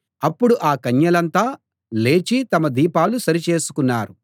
అప్పుడు ఆ కన్యలంతా లేచి తమ దీపాలు సరిచేసుకున్నారు